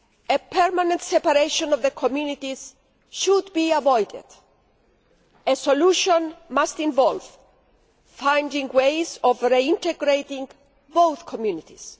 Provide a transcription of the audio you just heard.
A permanent separation of the communities should be avoided a solution must involve finding ways of reintegrating both communities.